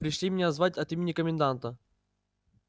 пришли меня звать от имени коменданта